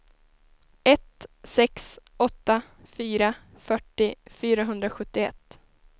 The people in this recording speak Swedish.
ett sex åtta fyra fyrtio fyrahundrasjuttioett